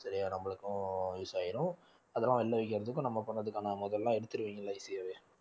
சரியா நம்மளுக்கும் use ஆயிரும் அதெல்லாம் வெளிய விக்கறதுக்கும் நம்ம பண்றதுக்கான முதல்ல எடுத்திருவீங்கல்ல easy ஆவே